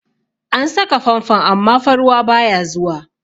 An saka fanfon amma fa ruwa baya zuwa.